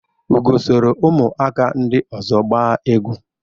Ugo sọrọ umuaka ndị ọzọ gbaa egwu.